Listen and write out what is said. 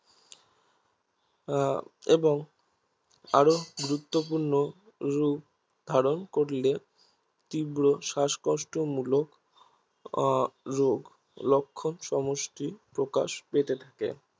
এবং আরো গুরুত্বপূর্ণ রুপ ধারন করেল তীব্র শ্বাসকষ্টমুলক রোগ লক্ষন সমষ্টি প্রকাশ পেতে থাকে